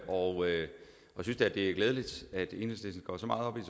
og jeg synes da det er glædeligt at enhedslisten går så meget op i